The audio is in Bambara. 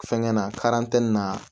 Fɛnkɛ na na